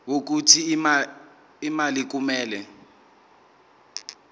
wokuthi imali kumele